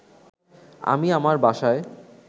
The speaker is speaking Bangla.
আমি আমার বাসায়